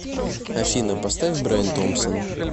афина поставь брайан томпсон